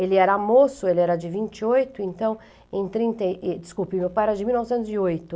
Ele era moço, ele era de vinte e oito, então, em trinta e... Desculpe, meu pai era de mil novecentos e oito.